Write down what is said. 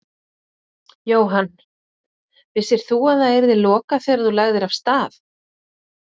Jóhann: Vissir þú að það yrði lokað þegar þú lagðir af stað?